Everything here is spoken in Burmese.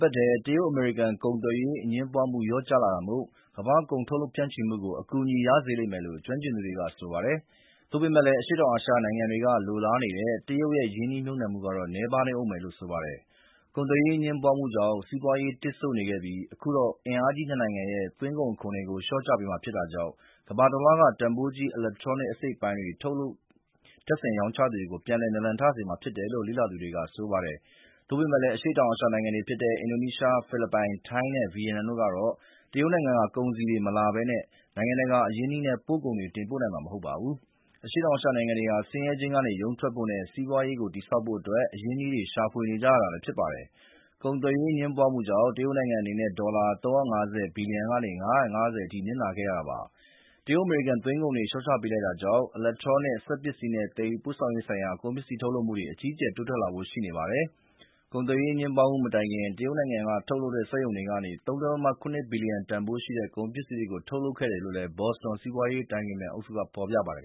ပတ်ထဲ တရုတ်-အမေရိကန်ကုန်သွယ်ရေး အငြင်းပွားမှု လျော့ကျလာတာမို့ကမ္ဘာ့ကုန်ထုတ်လုပ်ဖြန့်ချီမှုကို အကူအညီရစေလိမ့်မယ်လို့ ကျွမ်းကျင်သူတွေကဆိုပါတယ်။ သို့ပေမယ့်လည်း အရှေ့တောင်အာရှနိုင်ငံတွေက လိုလားနေတဲ့ တရုတ်ရဲ့ရင်းနှီးမြှုပ်နှံမှုကတော့ နည်းပါးနေဦးမယ်လို့ဆိုပါတယ်။ ကုန်သွယ်ရေးအငြင်းပွားမှုကြောင့် စီးပွားရေးတစ်ဆို့နေခဲ့ပြီး အခုတော့ အင်အားကြီးနှစ်နိုင်ငံရဲ့သွင်းကုန်အခွန်တွေကို လျှော့ချပေးမှာဖြစ်တာကြောင့် ကမ္ဘာတလွှားက တန်ဖိုးကြီး အီလက်ထရောနစ် အစိတ်အပိုင်းထုတ်လုပ်၊ တပ်ဆင်၊ ရောင်းချသူတွေကိုပြန်လည် နာလန်ထစေမှာဖြစ်တယ်လို့ လေ့လာသူတွေက ဆိုပါတယ်။ သို့ပေမယ့်လည်း အရှေ့တောင်အာရှနိုင်ငံတွေဖြစ်တဲ့ အင်ဒိုနီးရှား၊ ဖိလစ်ပိုင်၊ ထိုင်းနဲ့ဗီယက်နမ်တို့ကတော့ တရုတ်နိုင်ငံက ကုန်စည်တွေမလာဘဲနဲ့ နိုင်ငံတကာအရင်းအနှီးနဲ့ပို့ကုန်တွေ တင်ပို့နိုင်မှာမဟုတ်ပါဘူး။ အရှေ့တောင်အာရှနိုင်ငံတွေဟာ ဆင်းရဲခြင်းကနေရုန်းထွက်ဖို့နဲ့ စီးပွားရေးကိုတည်ဆောက်နိုင်ဖို့ အရင်းအနှီးတွေ ရှာဖွေနေကြရတာလည်းဖြစ်ပါတယ်။ ကုန်သွယ်ရေး အငြင်းပွားမှုတွေကြောင့် တရုတ်နိုင်ငံအနေနဲ့ ဒေါ်လာ ၃၅၀ ဘီလျံကနေ ၅၅၀ အထိ နစ်နာခဲ့ရတာပါ။ တရုတ်-အမေရိကန် သွင်းကုန်အခွန်တွေ လျှော့ချပေးလိုက်တာကြောင့် အီလက်ထရောနစ်၊ စက်ပစ္စည်းနဲ့ သယ်ယူပို့ဆောင်ရေးဆိုင်ရာ ပစ္စည်းထုတ်လုပ်မှုတွေ အကြီးအကျယ် ထိုးတက်လာဖို့ရှိနေပါတယ်။ ကုန်သွယ်ရေး အငြင်းပွားမှုမတိုင်ခင်က တရုတ်နိုင်ငံထုတ်စက်ရုံတွေကနေ ၃.၇ ဘီလျံတန်ဖိုးရှိတဲ့ ကုန်ပစ္စည်းတွေကို ထုတ်လုပ်ခဲ့တယ်လို့ ဘော်စတွန် စီးပွားရေးအတိုင်ပင်ခံအုပ်စုက ဖော်ပြပါတယ်